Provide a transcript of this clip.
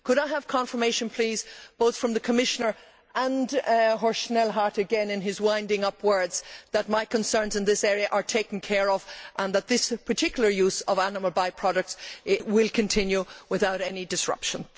I should like confirmation, both from the Commissioner and Horst Schnellhardt again in his winding up words, that my concerns in this area are taken care of and that this particular use of animal by products will continue without any disruption.